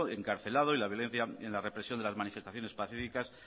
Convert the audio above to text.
encarcelado y la violencia en la represión de las manifestaciones pacíficas